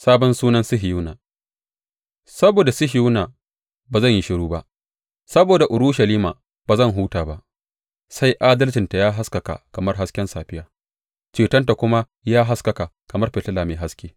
Sabon sunan Sihiyona Saboda Sihiyona ba zan yi shiru ba, saboda Urushalima ba zan huta ba, sai adalcinta ya haskaka kamar hasken safiya, cetonta kuma ya haskaka kamar fitila mai haske.